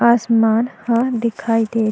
आसमन ह दिखाई देत--